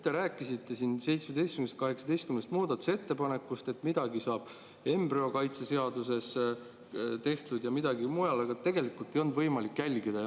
Te rääkisite 17‑st või 18 muudatusettepanekust, et midagi saab embrüokaitse seaduses tehtud ja midagi mujal, aga tegelikult ei olnud seda võimalik jälgida.